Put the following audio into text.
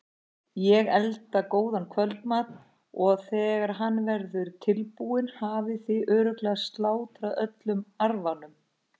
Ég elda góðan kvöldmat og þegar hann verður tilbúinn hafið þið örugglega slátrað öllum arfanum.